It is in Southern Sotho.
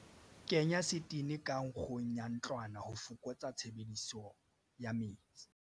Kenya setene ka nkgong ya ntlwana ho fokotsa tshebediso ya metsi.